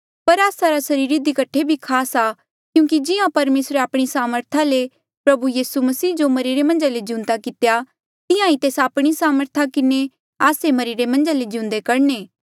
पर आस्सा रा सरीर इधी कठे भी खास आ क्यूंकि जिहां परमेसरे आपणी सामर्था ले प्रभु यीसू मसीह जो मरिरे मन्झ ले जिउंदा कितेया तिहां ही तेस आपणी सामर्थ किन्हें आस्से मरिरे मन्झ ले जिउंदे करणे